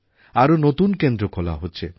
আরও নতুন কেন্দ্র খোলা হচ্ছে